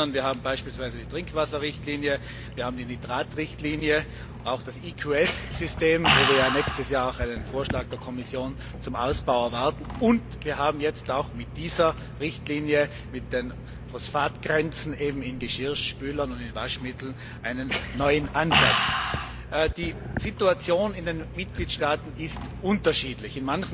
Ich darf erinnern, wir haben beispielsweise die Trinkwasserrichtlinie, wir haben die Nitratrichtlinie, auch das EQS System, wo wir ja nächstes Jahr auch einen Vorschlag der Kommission zum Ausbau erwarten, und wir haben jetzt auch mit dieser Richtlinie, mit den Phosphatgrenzen in Geschirrspülern und in Waschmitteln, einen neuen Ansatz. Die Situation in den Mitgliedstaaten ist unterschiedlich.